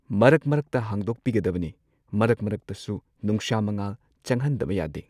ꯃꯔꯛ ꯃꯔꯛꯇ ꯍꯥꯡꯗꯣꯛꯄꯤꯒꯗꯕꯅꯤ ꯃꯔꯛ ꯃꯔꯛꯇꯁꯨ ꯅꯨꯡꯁꯥ ꯃꯉꯥꯜ ꯆꯪꯍꯟꯗꯕ ꯌꯥꯗꯦ꯫